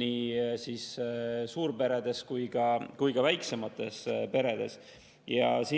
nii suurperede kui ka väiksemate perede lapsi.